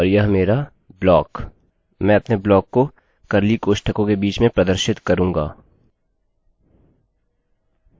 मैं अपने ब्लॉक को कर्लीcurly कोष्ठकों के बीच में प्रदर्शित करूँगा